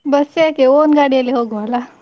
Bus ಯಾಕೆ own ಗಾಡಿಯಲ್ಲಿ ಹೋಗುವಲ್ಲ.